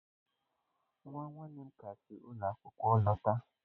Nwa nwanne m ka si ụlọ akwụkwọ lọta.